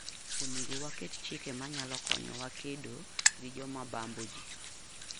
Onego waket chike manyalo konyowa kedo gi joma bambo ji.